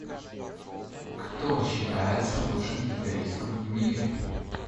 кто считается лучшим гитаристом в мире